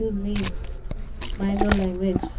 Cuse me mind your language